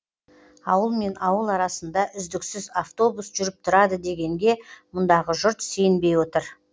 ауылмен ауыл арасында үздіксіз автобус жүріп тұрады дегенге мұндағы жұрт сенбей отыр